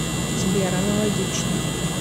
сбер аналогично